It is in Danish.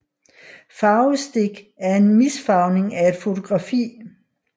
Farvestik er en misfarvning af et fotografi